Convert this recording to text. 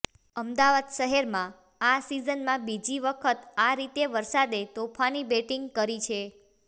અમદાવાદ શહેરમાં આ સીઝનમાં બીજી વખત આ રીતે વરસાદે તોફાની બેટિંગ કરી છે